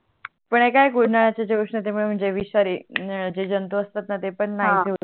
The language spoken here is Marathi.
पण एक आहे ऊनड्याच्या जे उष्णते मूळे म्हणजे विषारी जे जंतु असतातणा ते पण नाहीसे होते हा